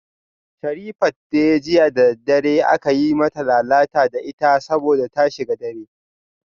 Sherifat dai jiya da daddare aka yi mata lalata da ita saboda ta shiga dare